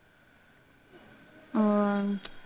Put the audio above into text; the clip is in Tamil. உம்